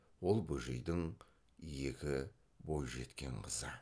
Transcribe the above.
ол бөжейдің екі бойжеткен қызы